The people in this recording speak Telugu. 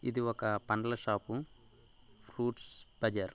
ఇది ఒక పండ్ల షాప్. Fruits Bazar.